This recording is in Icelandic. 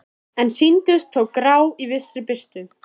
En sýndust þó grá í vissri birtu.